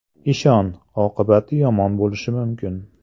Ishon, oqibati yomon bo‘lishi mumkin.